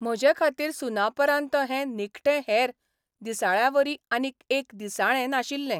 म्हजे खातीर सुनापरान्त हैं निखटें हेर दिसाळ्यांवरी आनीक एक दिसाळें नाशिल्लें.